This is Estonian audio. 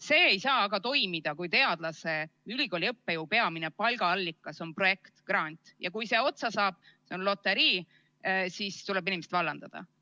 See ei saa aga toimuda, kui teadlase, ülikooli õppejõu peamine palgaallikas on projekt, grant, ja kui see otsa saab, on loterii, ja siis tuleb inimesed vallandada.